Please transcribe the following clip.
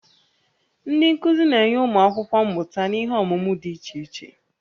Ndị nkuzi na-enye ụmụ akwụkwọ mmụta n'ihe ọmụmụ dị iche iche